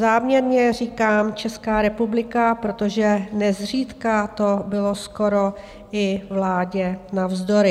Záměrně říkám Česká republika, protože nezřídka to bylo skoro i vládě navzdory.